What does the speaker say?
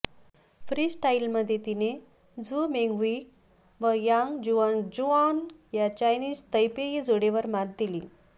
free स्टाईलमध्ये तिने Zhu Menghui व यांग जुआनक्झुआन या चायनीज तैपेई जोडीवर मात दिली